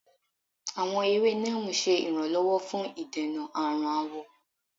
Awọn ewe Neem ṣe iranlọwọ fun idena arun awọ.